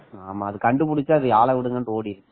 அது கண்டுபிடித்து ஆள விடுங்கன்னு ஓடிடுச்சு